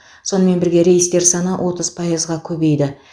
сонымен бірге рейстер саны отыз пайызға көбейді